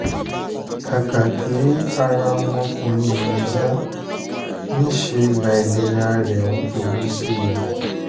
kàkà kí ara ọmọkùnrin yẹn yá níṣẹ́ láìlera rẹ̀ ń burú sí i